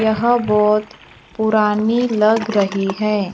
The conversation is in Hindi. यह बहोत पुरानी लग रही है।